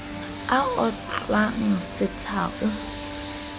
a o hlwang setha o